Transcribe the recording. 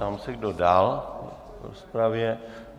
Ptám se, kdo dál v rozpravě.